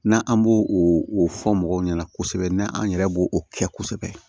N'an b'o o fɔ mɔgɔw ɲɛna kosɛbɛ n'an yɛrɛ b'o o kɛ kosɛbɛ